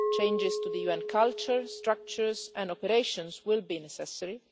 Changes to the UN culture, structures and operations will be necessary.